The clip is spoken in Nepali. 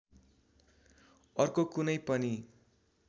अर्को कुनै पनि